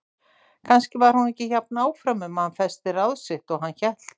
Kannski var hún ekki jafn áfram um að hann festi ráð sitt og hann hélt.